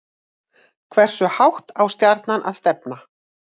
Hversu hátt á Stjarnan að stefna